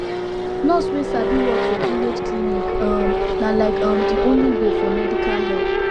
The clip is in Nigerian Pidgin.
nurse wey sabi work for village clinic um na like um de only way for medical help